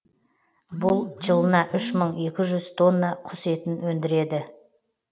бұл жылына үш мың екі жүз тонна құс етін өндіреді